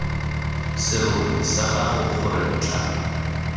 serori sa gago gore ntlha